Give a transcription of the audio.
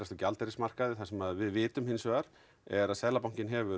gjaldeyrismarkaði það sem við vitum hins vegar er að Seðlabankinn hefur